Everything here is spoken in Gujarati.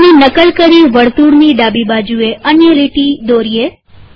લીટીની નકલ કરી વર્તુળની ડાબીબાજુએ અન્ય લીટી દોરીએ